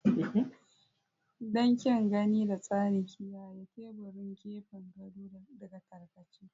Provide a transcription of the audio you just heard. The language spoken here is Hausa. Don kyan gani da tsari, kiyaye teburin gefen gado daga tarkace.